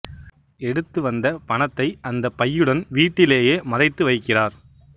எடுத்து வந்த பணத்தை அந்த பையுடன் வீட்டிலேயே மறைத்து வைக்கிறார்